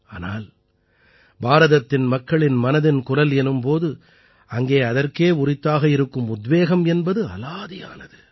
ஆனால் பாரதத்தின் மக்களின் மனதின் குரல் எனும் போது அங்கே அதற்கே உரித்தாக இருக்கும் உத்வேகம் என்பது அலாதியானது